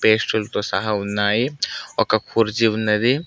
పేస్టులతో సహా ఉన్నాయి ఒక కుర్చీ ఉన్నది.